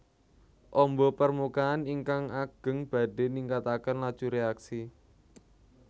Ombo permukaan ingkang ageng badhe ningkataken laju reaksi